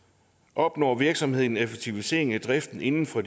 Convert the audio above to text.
opnår virksomheden en effektivisering af driften inden for